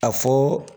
A fɔ